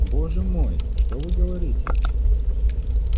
боже мой что вы говорите